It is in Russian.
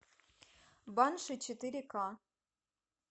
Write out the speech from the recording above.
банши четыре ка